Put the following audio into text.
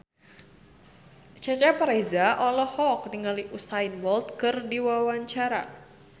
Cecep Reza olohok ningali Usain Bolt keur diwawancara